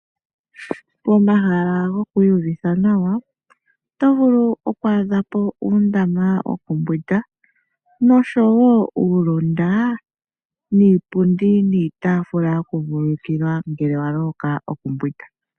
Pomahala gokwiiyuvitha nawa oto vulu okwaadhapo uundama wokumbwinda oshowo uulunda niipundi niitafula yokuvululukila ngele wa loloka okumbwinda.